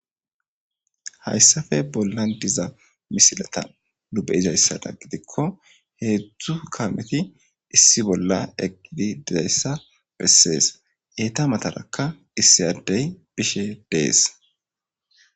Hayssafe bolla diza misilata dube izayssada gidikko heedzdzu kameti issi bolla eqqidi dizayssa bessees eeta matarakka issi addey bishe dees.